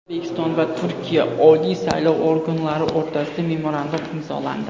O‘zbekiston va Turkiya oliy saylov organlari o‘rtasida memorandum imzolandi.